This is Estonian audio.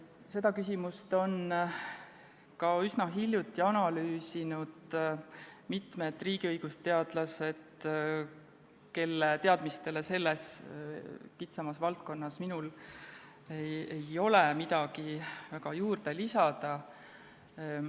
Seda küsimust analüüsisid üsna hiljuti mitmed riigiõigusteadlased, kelle teadmistele selles kitsamas valdkonnas ei ole minul midagi väga juurde lisada.